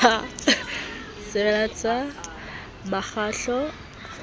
e sebediswe selakgeng ha ke